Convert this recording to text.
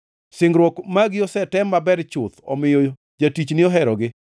Singruok magi osetem maber chuth, omiyo jatichni oherogi.